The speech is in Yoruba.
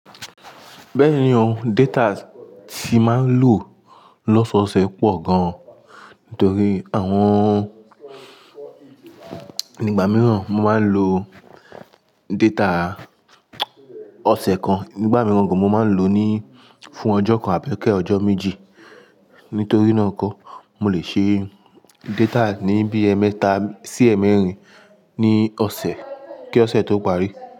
Bẹ́ẹ̀ni o, data tí mà ń lò lọ́sọ̀ọ̀sẹ̀ pọ̀ gan, nítorí àwọn Nígbà mìíràn mo máa ń lo data ọ̀sẹ̀ kan, nígbà mìíràn gan mo máa ń lò ní fún ọjọ́ kan àbí kẹ́ ọjọ́ méjì. Nítorí náà kọ́, mo lè ṣe data ní bí ẹ mẹ̀ta sí ẹ mẹ̀rin ní ọ̀sẹ̀ kí ọ̀sẹ̀ tó parí.